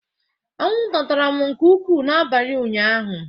Anwụnta tara m nke ukwuu n'abalị ụnyaahụ.